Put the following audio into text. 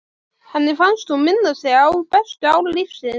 Henni fannst hún minna sig á bestu ár lífsins.